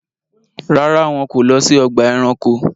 Ràrá, wọn ko lọ si ọgba ẹranko